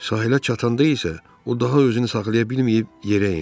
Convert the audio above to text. Sahilə çatanda isə o daha özünü saxlaya bilməyib yerə endi.